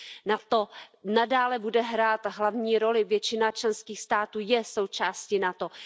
NATO nadále bude hrát hlavní roli, většina členských států je součástí NATO.